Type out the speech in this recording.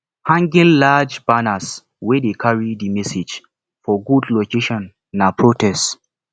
hanging large banners wey de carry di message for good location na protests